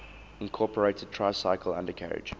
incorporated tricycle undercarriage